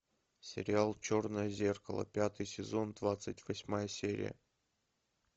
сериал черное зеркало пятый сезон двадцать восьмая серия